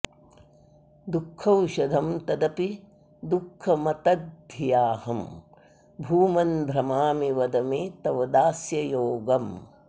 दुःखौषधं तदपि दुःखमतद्धियाहं भूमन् भ्रमामि वद मे तव दास्ययोगम्